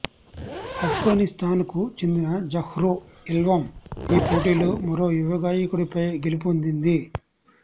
ఆఫ్ఘనిస్తాన్కు చెందిన Zahra Elham ఈ పోటీలో మరో యువగాయకుడిపై గెలుపొందింది